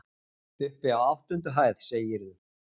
Uppi á áttundu hæð, segirðu?